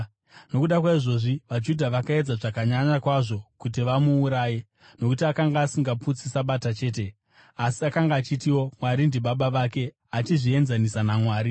Nokuda kwaizvozvi, vaJudha vakaedza zvakanyanya kwazvo kuti vamuuraye; nokuti akanga asingaputsi Sabata chete, asi akanga achitiwo Mwari ndiBaba vake, achizvienzanisa naMwari.